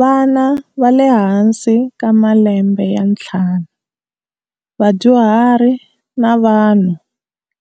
Vana va le hansi ka malembe ya ntlhanu, vadyuhari na vanhu